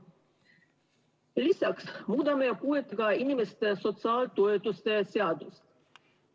Lisaks muudame puuetega inimeste sotsiaaltoetuste seadust.